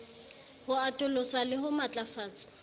ho atolosa le ho matlafatsa